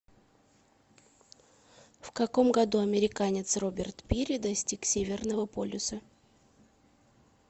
в каком году американец роберт пири достиг северного полюса